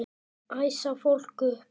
Æsa fólk upp?